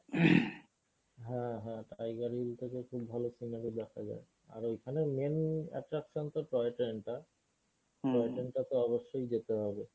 হ্যাঁ হ্যাঁ tiger hill টা থেকে খুব ভালো scenery দেখা যায় আর ঐখানে main attraction তোর toy train টা toy train টাতে অবশ্যই যেতে হবে।